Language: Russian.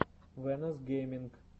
вэнос гейминг